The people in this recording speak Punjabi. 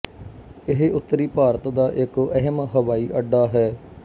ਇਹ ਉੱਤਰੀ ਭਾਰਤ ਦਾ ਇੱਕ ਅਹਿਮ ਹਵਾਈ ਅੱਡਾ ਹੈ